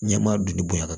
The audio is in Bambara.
Ɲɛmaa dun de bonyana